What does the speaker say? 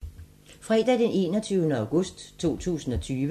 Fredag d. 21. august 2020